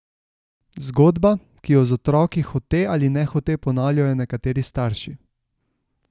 Zgodba, ki jo z otroki hote ali nehote ponavljajo nekateri starši.